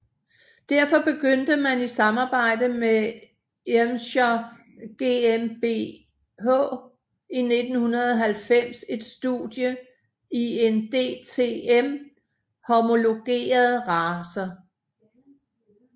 Derfor begyndte man i samarbejde med Irmscher GmbH i 1990 et studie i en DTM homologeret racer